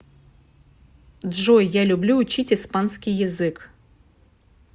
джой я люблю учить испанский язык